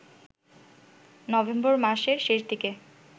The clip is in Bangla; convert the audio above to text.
নভেম্বর মাসের শেষ দিকে